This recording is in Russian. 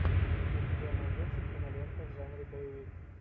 у тебя найдется кинолента в жанре боевик